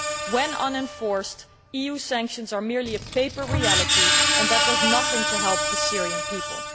When unenforced, EU sanctions are merely a paper reality and that does nothing to help the Syrian people.